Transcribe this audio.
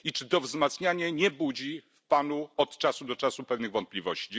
I czy to wzmacnianie nie budzi w Panu od czasu do czasu pewnych wątpliwości?